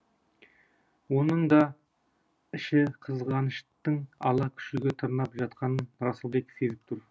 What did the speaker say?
оның да ішін қызғаныштың ала күшігі тырнап жатқанын расылбек сезіп тұр